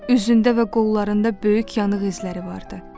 Üzündə və qollarında böyük yanıq izləri vardı.